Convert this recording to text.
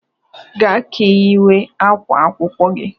"Gaa ka ị yiwe ákwá akwụkwọ gị"